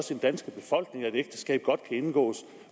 den danske befolkning at ægteskab godt kan indgås